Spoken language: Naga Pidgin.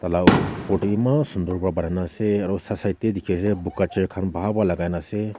flower opor te bhi eman sunder para bonai ke ase aru side side te boga chair khan Bahan para logai kina ase.